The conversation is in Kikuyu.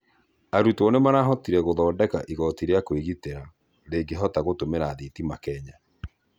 Arũtwo nĩmarathondekĩre ĩgotĩ rĩa kwĩgĩtĩra rĩngĩhota gũtũmĩra thĩtĩma Kenya